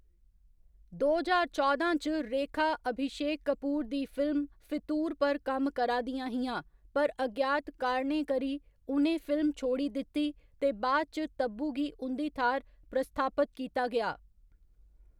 दो ज्हार चौदां च, रेखा अभिशेक कपूर दी फिल्म 'फितूर' पर कम्म करा दिया हियां, पर अज्ञात कारणें करी उ'नें फिल्म छोड़ी दित्ती ते बाद इच तब्बू गी उं'दी थाह्‌‌‌र प्रतिस्थापत कीता गेआ।